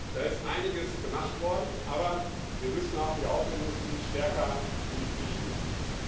Da ist einiges gemacht worden, aber wir müssen auch die Autoindustrie stärker in die Pflicht nehmen.